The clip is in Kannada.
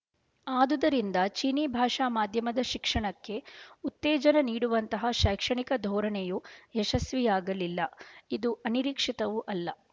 ಆದುದರಿಂದ ಚೀನೀ ಭಾಷಾ ಮಾಧ್ಯಮದ ಶಿಕ್ಷಣಕ್ಕೆ ಉತ್ತೇಜನ ನೀಡುವಂತಹ ಶೈಕ್ಷಣಿಕ ಧೋರಣೆಯು ಯಶಸ್ವಿಯಾಗಲಿಲ್ಲ ಇದು ಅನಿರೀಕ್ಶಿತವೂ ಅಲ್ಲ